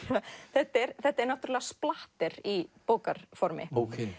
þetta er þetta er í bókarformi